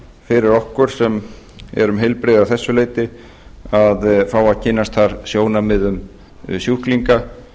fyrir okkur sem eru heilbrigð að þessu leyti að fá að kynnast þar sjónarmiðum sjúklinga